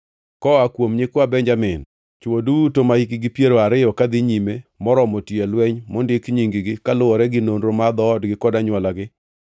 Koa kuom nyikwa Benjamin: Chwo duto mahikgi piero ariyo kadhi nyime moromo tiyo e lweny nondik nying-gi, kaluwore gi nonro mar dhoodgi kod anywolagi.